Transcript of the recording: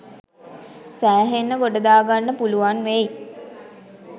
සෑහෙන්න ගොඩදාගන්න පුළුවන් වෙයි.